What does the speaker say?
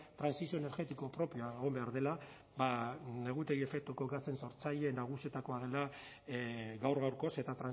trantsizio energetiko propioa egon behar dela ba negutegi efektuko gasen sortzaile nagusietakoa dela gaur gaurkoz eta